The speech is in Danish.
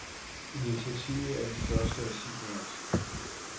Initiativet er det første af sin art.